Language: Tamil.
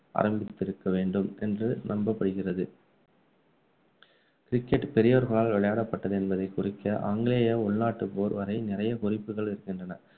ஆரம்பித்திருக்க வேண்டும் என்று நம்பப்படுகிறது. cricket பெரியோர்களால் விளையாடப்பட்டது என்பதை குறிக்க ஆங்கிலேய உள்நாட்டு போர்வரை நிறைய குறிப்புகள் இருக்கின்றன